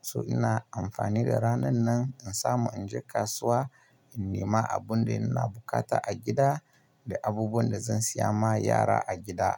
So ina amfani da ranan nan in samu in je kasuwa, in nema abun da ina bukata a gida da abubuwan da zan siya ma yara a gida.